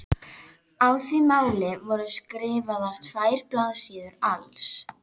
Á því máli voru skrifaðar tvær blaðsíður alls.